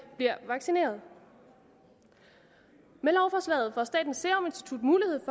bliver vaccineret med lovforslaget får statens serum institut mulighed